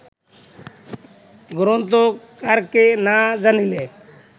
গ্রন্থকারকে না জানিলে